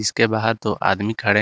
के बाहर दो आदमी खड़े--